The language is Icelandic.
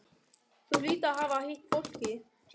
Þú hlýtur að hafa hitt fólkið.